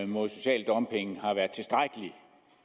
mod social dumping har været tilstrækkelig